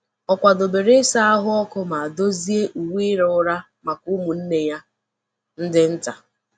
O kwadebere ịsa ahụ ọkụ ma dozie uwe ịra ụra maka ụmụnne ya ndị nta.